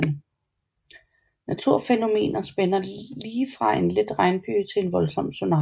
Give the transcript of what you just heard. Naturfænomener spænder lige fra en let regnbyge til en voldsom tsunami